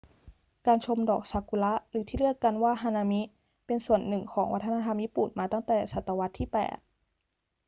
การชมดอกซากุระหรือที่เรียกกันว่าฮานามิ เป็นส่วนหนึ่งของวัฒนธรรมญี่ปุ่นมาตั้งแต่ศตวรรษที่ 8